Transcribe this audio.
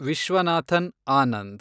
Viswanathan Anand